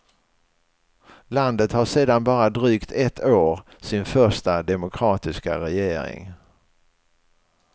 Landet har sedan bara drygt ett år sin första demokratiska regering.